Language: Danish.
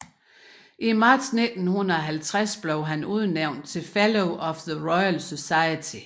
I marts 1950 blev han udnævnt til Fellow of the Royal Society